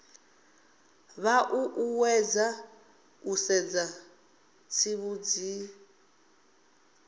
vha ṱuṱuwedzwa u sedza zwitsivhudzi